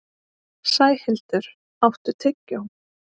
Sæhildur, áttu tyggjó?